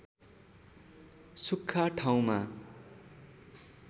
सुख्खा ठाउँमा